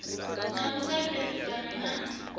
na u sa pfesesana na